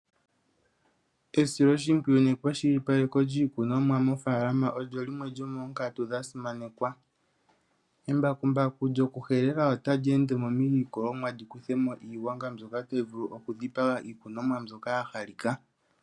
Esiloshimpwiyu nekwashilipaleko lyiikunomwa mofaalama olyo limwe lyomoonkatu dhasimanekwa, embakumbaku lyo ku helela ota li ende mo miilikolomwa li kuthe mo iigwanga mbyoka tayi vulu oku dhipaga iikunomwa mbyoka ya halika.